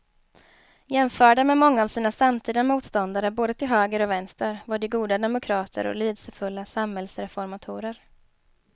Jämförda med många av sina samtida motståndare både till höger och vänster var de goda demokrater och lidelsefulla samhällsreformatorer.